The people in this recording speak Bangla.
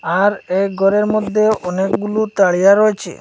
আর এই গরের মদ্যে অনেকগুলো তারিয়া রয়েচে।